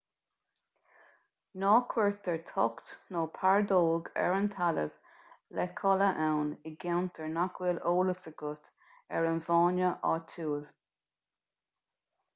ná cuirtear tocht nó pardóg ar an talamh le codladh ann i gceantair nach bhfuil eolas agat ar an bhfána áitiúil